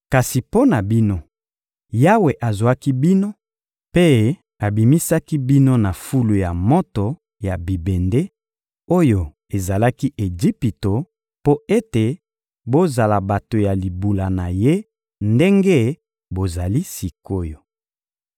Kasi mpo na bino, Yawe azwaki bino mpe abimisaki bino na fulu ya moto ya bibende, oyo ezalaki Ejipito, mpo ete bozala bato ya libula na Ye ndenge bozali sik’oyo.